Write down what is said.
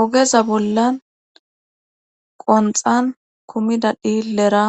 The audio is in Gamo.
ogeza bollan qonxan kumida dhiillera